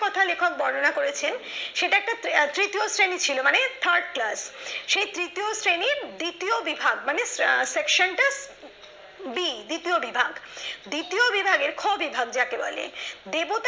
যেটা লেখক বর্ণনা করেছেন সেটা একটা তৃতীয় শ্রেণীর ছিল মানে third class সে তৃতীয় শ্রেণীর দ্বিতীয় বিভাগ মানে section টা b দ্বিতীয় বিভাগের খ বিভাগ যাকে বলে দেবতা